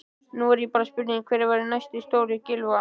Nú er það bara spurning hver verður næsti stjóri Gylfa?